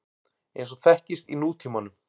eins og þekkist í nútímanum.